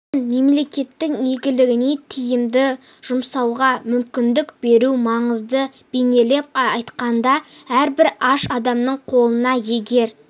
мен мемлекеттің игілігіне тиімді жұмсауға мүмкіндік беру маңызды бейнелеп айтқанда әрбір аш адамның қолына егер